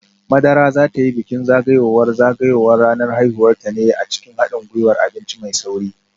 Madara za ta yi bikin zagayowar zagayowar ranar haihuwarta ne a cikin hadin gwiwar abinci mai sauri